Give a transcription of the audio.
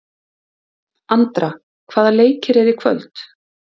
Andra, hvaða leikir eru í kvöld?